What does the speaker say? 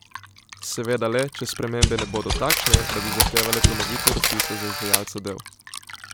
Seveda le, če spremembe ne bodo takšne, da bi zahtevale ponovitev razpisa za izvajalca del.